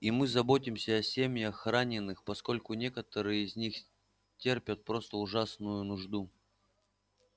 и мы заботимся о семьях раненых поскольку некоторые из них терпят просто ужасную нужду